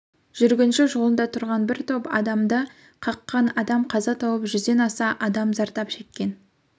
жүргінші жолында тұрған бір топ адамды қаққан адам қаза тауып жүзден аса адам зардап шеккен